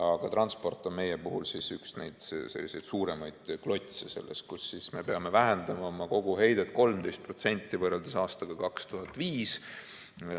Aga transport on meie puhul üks selliseid suuremaid klotse, kus siis me peame vähendama oma koguheidet 13% võrreldes aastaga 2005.